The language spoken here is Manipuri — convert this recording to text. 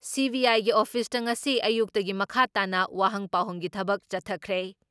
ꯁꯤ.ꯕꯤ.ꯑꯥꯏꯒꯤ ꯑꯣꯐꯤꯁꯇ ꯉꯁꯤ ꯑꯌꯨꯛꯇꯒꯤ ꯃꯈꯥ ꯇꯥꯅ ꯋꯥꯍꯪ ꯄꯥꯎꯍꯪꯒꯤ ꯊꯕꯛ ꯆꯠꯊꯈ꯭ꯔꯦ ꯫